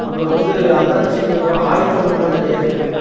அப்புறோ வந்து அந்தாண்ட சைடு ப ஆயுதங்கள்லா நெறைய இருக்கு.